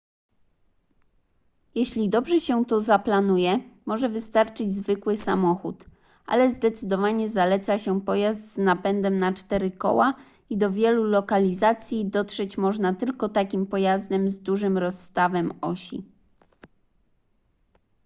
jeśli dobrze się to zaplanuje może wystarczyć zwykły samochód ale zdecydowanie zaleca się pojazd z napędem na cztery koła i do wielu lokalizacji dotrzeć można tylko takim pojazdem z dużym rozstawem osi